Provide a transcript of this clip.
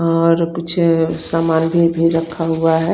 और कुछ सामान भी रखा हुआ है।